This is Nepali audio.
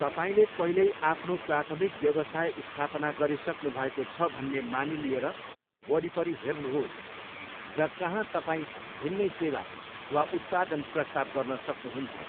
तपाईँले पहिल्यै आफ्नो प्राथमिक व्यवसाय स्थापना गरिसक्नुभएको छ भन्ने मानिलिएर वरिपरि हेर्नुहोस् र कहाँ तपाईँ भिन्नै सेवा वा उत्पादन प्रस्ताव गर्न सक्नुहुन्छ।